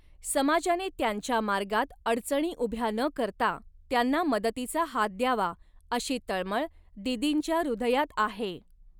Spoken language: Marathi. समाजाने त्यांच्या मार्गात अडचणी उभ्या न करता त्यांना मदतीचा हात द्यावा, अशी तळमळ दीदींच्या हृदयात आहे.